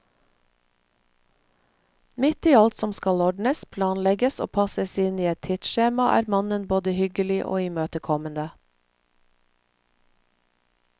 Midt i alt som skal ordnes, planlegges og passes inn i et tidsskjema er mannen både hyggelig og imøtekommende.